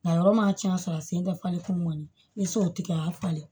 Nka yɔrɔ ma cɛn ka sɔrɔ a sen tɛ falen kun ŋɔni i se o tigɛ a y'a falen